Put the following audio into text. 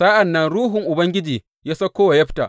Sa’an nan Ruhun Ubangiji ya sauko wa Yefta.